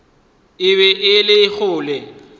e be e le kgole